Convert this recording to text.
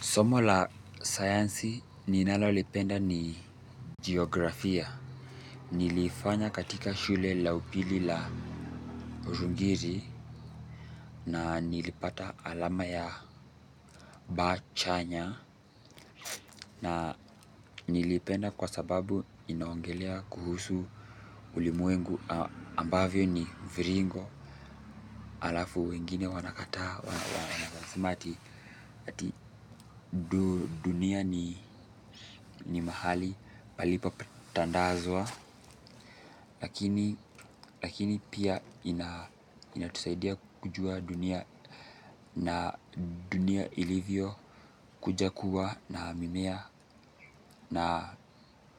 Somo la sayansi ninalolipenda ni jiografia. Niliifanya katika shule la upili la Rungiri na nilipata alama ya B chanya. Na niliipenda kwa sababu inaongelea kuhusu ulimwengu ambavyo ni viringo halafu wengine wanakataa wanasema ati ati dunia ni mahali palipotandazwa lakini pia inatusaidia kujua dunia na dunia ilivyokuja kuwa na mimea na